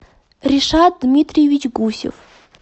решат дмитриевич гусев